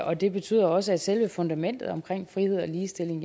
og det betyder også at selve fundamentet omkring frihed og ligestilling